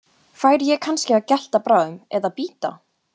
Færi ég kannski að gelta bráðum. eða bíta?